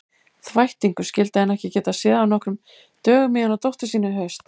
Þvættingur, skyldi hann ekki geta séð af nokkrum dögum í hana dóttur sína í haust.